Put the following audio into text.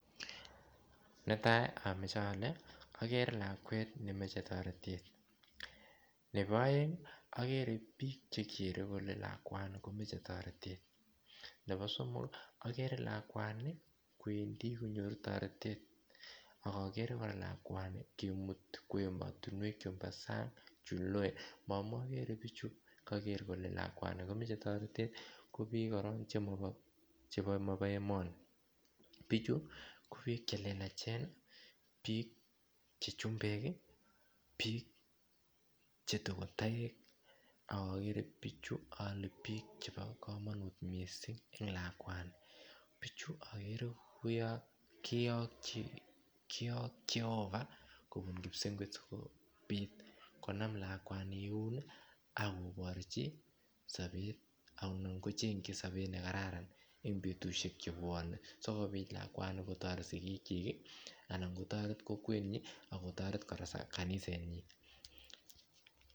Netai omoche ole okere lakwet nemoche toretet, nebo oeng okere bik chekere kole lakwani komoche toretet nebo somok okere lakwani kwendi konyoru toretet ok okere koraa lakwani kimuti kwo emotinuek chumbo sang chuloe ngamun okere bichu ole koker kole lakwani komoche toretet kobik koraa chemobo emoni bichu kobik chelelachen bik chechumbek ii , bik chetokotoek ak okere bichu ole bik chebo komonut missing' en lakwani bichu okere kouon koyok Jehovah kobun Kipsengwet kobit konam lakwani eun ii ak koborji sobet anan kochengji sobet nekararan en betushek chebwonen sikobit lakwani kotoret sigik chik ii ana kotoret kokwenyin akotoret koraa kanisenyin.